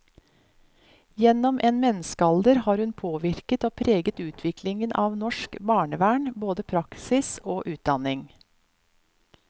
Gjennom en menneskealder har hun påvirket og preget utviklingen av norsk barnevern, både praksis og utdanning.